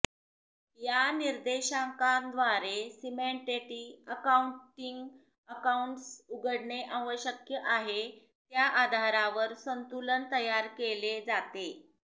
या निर्देशांकाद्वारे सिमेंटेटी अकाउंटिंग अकाउंट्स उघडणे आवश्यक आहे त्या आधारावर संतुलन तयार केले जाते